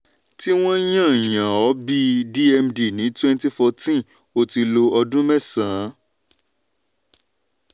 tí wọ́n yàn yàn ó bí dmd ní wenty forteen o tì lo ọdún mẹsan-án.